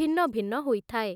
ଭିନ୍ନ ଭିନ୍ନ ହୋଇଥାଏ ।